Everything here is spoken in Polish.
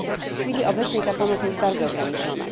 W chwili obecnej pomoc ta jest bardzo ograniczona.